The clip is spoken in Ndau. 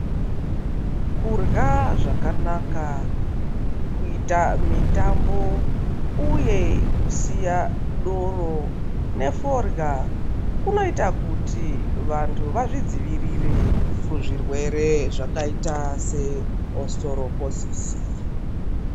Kurya zvakanaka kuita mitambo uye kusiya doro ne forya kunoita kuti vantu vazvi dzivirire ku zvirwere zvakaita se ositoro posisi.